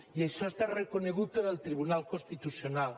i això està reconegut en el tribunal constitucional